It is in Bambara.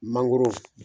Mangoro